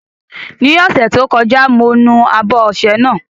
Ní ọ̀sẹ̀ tó kọjá, mo nu abọ́ ọṣẹ náà.